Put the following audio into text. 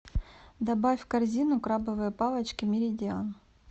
добавь в корзину крабовые палочки меридиан